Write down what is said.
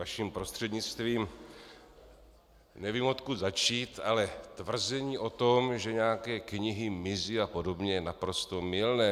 Vaším prostřednictvím, nevím odkud začít, ale tvrzení o tom, že nějaké knihy mizí a podobně, je naprosto mylné.